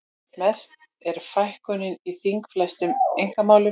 Mest er fækkunin í þingfestum einkamálum